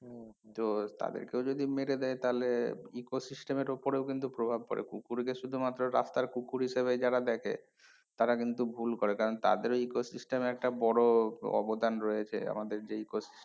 . তাদের কেও যদি মেরে দেয় তাহলে ecosystem এর ওপরেও কিন্তু প্রভাব পরে কুকুর কে শুধুমাত্র রাস্তার কুকুর হিসাবেই যারা দেখে তারা কিন্তু ভুল করে কারণ তাদের ওই ecosystem এ একটা বড়ো অবদান রয়েছে আমাদের যে ecosys